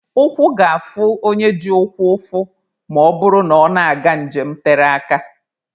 Ụkwụ ga-afụ onye ji ụkwụ ụfụ ma ọ bụrụ na ọ na-aga njem tere aka.